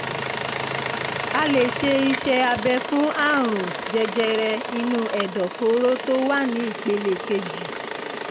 a lè ṣe iṣẹ́ abẹ fún àrùn jẹjẹrẹ inú ẹ̀dọ̀fóró tó wà ní ìpele kejì